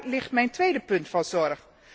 Daar ligt mijn tweede punt van zorg.